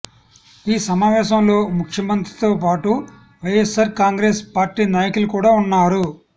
ఈ సమావేశంలో ముఖ్యమంత్రితో పాటు వైయస్ఆర్ కాంగ్రెస్ పార్టీ నాయకులు కూడా ఉన్నారు